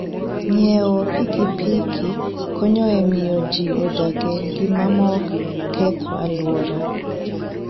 Ng'iewo pikipiki konyo e miyo ji odag e ngima maok keth alwora.